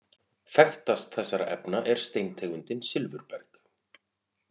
Þekktast þessara efna er steintegundin silfurberg.